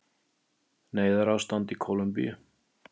Neyðarástand í Kólumbíu